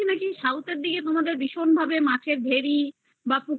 শুনেছি নাকি south দিকে তোমাদের মাঠের দিকে ভীষণ ভেরি বা পুকুর